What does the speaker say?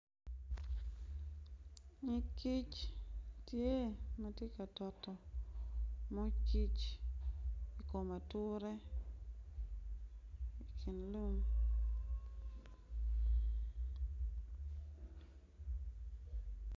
Nyig kic ma tye ka doto moo kic ki i kom ature